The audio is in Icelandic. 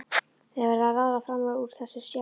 Þið verðið að ráða fram úr þessu sjálf.